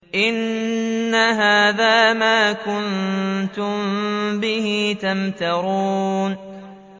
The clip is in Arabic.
إِنَّ هَٰذَا مَا كُنتُم بِهِ تَمْتَرُونَ